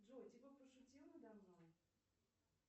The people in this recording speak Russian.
джой типа пошутил надо мной